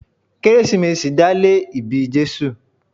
Kérésìmesì dá lé ìbí Jésù.